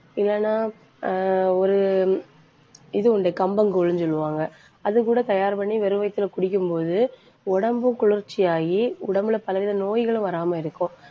இல்லைன்னா ஆஹ் ஒரு இது உண்டு. கம்பங்கூழ்ன்னு சொல்லுவாங்க அது கூட தயார் பண்ணி வெறும் வயித்துல குடிக்கும் போது, உடம்பு குளிர்ச்சியாயி உடம்புல பல வித நோய்களும் வராம இருக்கும்